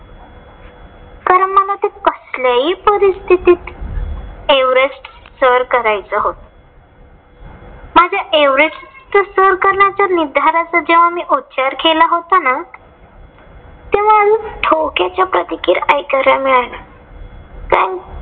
Sir करायचं होत. माझ्या एव्हरेस्ट सर करण्याच्या निर्धाराचा मी उच्चार केला होता ना. तेंव्हा अनेक टोकाच्या प्रतिक्रिया ऐकायला मिळाल्या